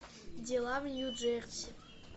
дела в нью джерси